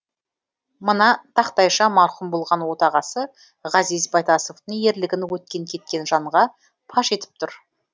мына тақтайша марқұм болған отағасы ғазиз байтасовтың ерлігін өткен кеткен жанға паш етіп тұр